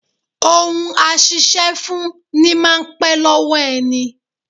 Ohun a ṣiṣẹ́ fún ní máa n pẹ́ lọ́wọ́ ẹni